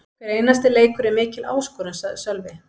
Hver einasti leikur er mikil áskorun, sagði Sölvi.